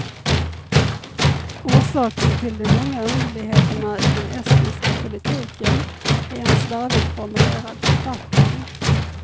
Orsaken till de många underligheterna i den estniska politiken är en slarvigt formulerad författning.